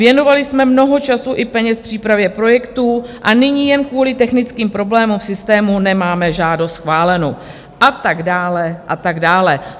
Věnovali jsme mnoho času i peněz přípravě projektů a nyní jen kvůli technickým problémům v systému nemáme žádost schválenu" a tak dále a tak dále.